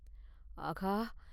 ஆகா!